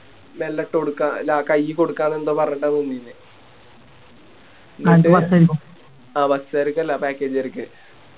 മെല്ലെട്ടോഡ്ക്ക ല കൈയിൽ കൊടുക്കാന്ന് എന്തോ പറഞ്ഞിട്ട നിന്നിന്നെ ആ Bus കാർക്കല്ല Package കാർക്ക്